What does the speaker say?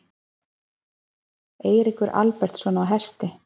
Eiríkur Albertsson á Hesti.